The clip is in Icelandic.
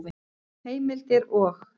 Heimildir og